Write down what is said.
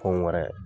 Fɛn wɛrɛ